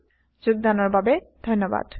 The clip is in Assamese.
অংশ গ্ৰহণৰ বাবে ধন্যবাদ